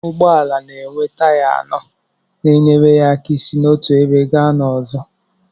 Ụgbọala na-enwe taya anọ na-enyere ya aka isi n'otu ebe gaa n'ọzọ.